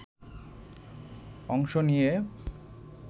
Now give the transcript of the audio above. অংশ নিয়েও